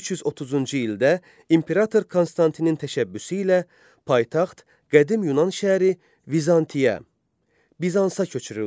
330-cu ildə imperator Konstantinin təşəbbüsü ilə paytaxt qədim Yunan şəhəri Vizantiya Bizansa köçürüldü.